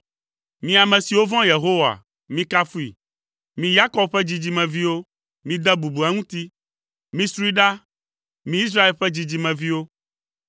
Mi ame siwo vɔ̃a Yehowa, mikafui! Mi, Yakob ƒe dzidzimeviwo, mide bubu eŋuti! Misroe ɖa, mi Israel ƒe dzidzimeviwo!